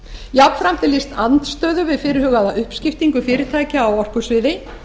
jafnframt er lýst andstöðu við fyrirhugaða uppskiptingu fyrirtækja á orkusviði